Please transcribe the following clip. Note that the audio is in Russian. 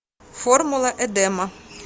формула эдема